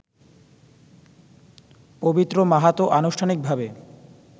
পবিত্র মাহাতো আনুষ্ঠানিকভাবে